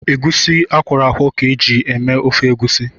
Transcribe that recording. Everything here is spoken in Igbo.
Egwusi akwọrọ akwọ ka eji eme ofe Egwusi